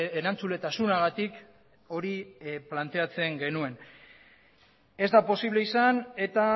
erantzuletasunagatik hori planteatzen genuen ez da posible izan eta